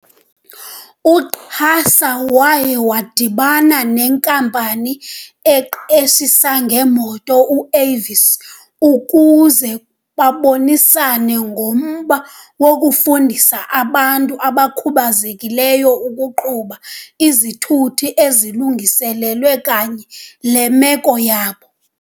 U-QASA waya wadibana nenkampani eqeshisa ngeemoto u-Avis ukuze babonisane ngomba wokufundisa abantu abakhubazekileyo ukuqhuba izithuthi ezilungiselelwe kanye le meko yabo.